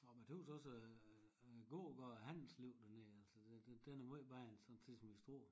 Jamen a tøws også æ æ gågade og handelsliv dernede altså den den den er møj bedre end sådan set som i Struer